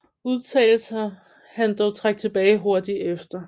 Udtalelser han dog trak tilbage hurtigt efter